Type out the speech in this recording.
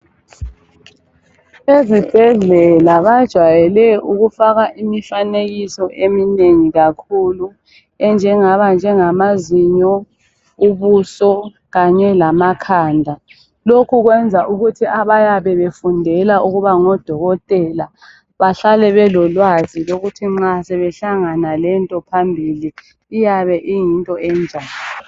Ezibhedlela bajwayele ukufaka imifanekiso eminengi kakhulu enje ngaba njegamazinyo ,ubuso kanye lamakhanda .Lokhu kwenza ukuthi abayabe befundela ukuba ngodokotela bahlale belolwazi lokuthi nxa sebehlangana lento phambili iyabe iyinto enjani